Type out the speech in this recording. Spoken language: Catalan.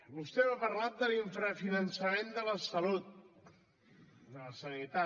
vostè m’ha parlat de l’infrafinançament de la salut de la sanitat